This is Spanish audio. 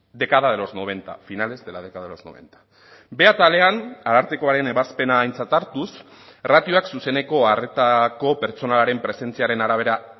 década de los noventa finales de la década de los noventa b atalean arartekoaren ebazpena aintzat hartuz ratioak zuzeneko harretako pertsonaren presentziaren arabera